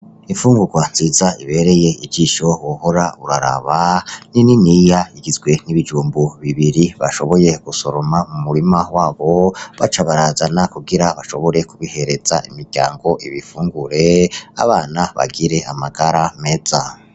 Imfugurwa nziza ibereye ijisho wohora uraraba ni niniya rugizwe nibijumbu bibiri bashoboye kwimbura mu murima iwabo baca barazana kugira bashobore kubihereza imiryango ibifungure abana bagire amagara meza.